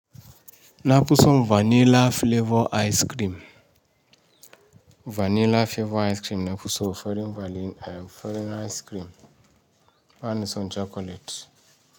Na fison vanilla flavor ice cream. Vanilla flavor ice cream na kuso farin ice cream. Banison chocolate.